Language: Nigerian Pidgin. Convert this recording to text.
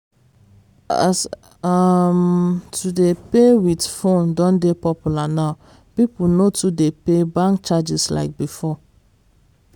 as um to dey pay wit phone don dey popular now people no too dey pay bank charges like before.